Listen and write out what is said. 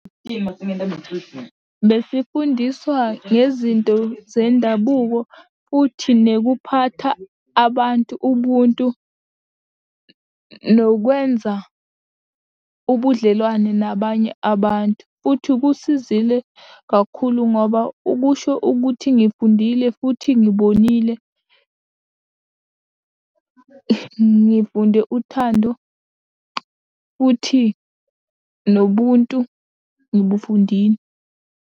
Besifundiswa ngezinto zendabuko futhi nekuphatha abantu ubuntu, nokwenza ubudlelwane nabanye abantu. Futhi kusizile kakhulu ngoba ukusho ukuthi ngifundile futhi ngibonile. Ngifunde uthando futhi nobuntu ngibufundile.